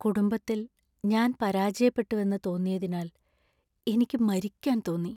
കുടുംബത്തിൽ ഞാന്‍ പരാജയപ്പെട്ടുവെന്ന് തോന്നിയതിനാൽ എനിക്ക് മരിക്കാന്‍ തോന്നി.